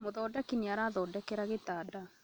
Mũthondeki nĩarathondekera gĩtanda